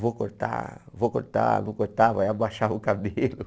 Vou cortar, vou cortar, vou cortar, vai abaixar o cabelo.